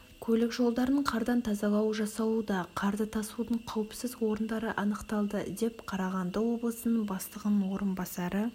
көлік жолдарын қардан тазалау жасалуда қарды тасудың қауіпсіз орындары анықталды деп қарағанды облысының бастығының орынбасары